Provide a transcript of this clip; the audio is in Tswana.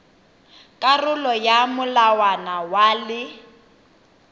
karolo ya molawana wa le